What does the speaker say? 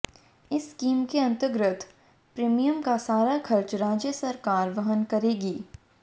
इस स्कीम के अंतर्गत प्रीमियम का सारा खर्च राज्य सरकार वहन करेगी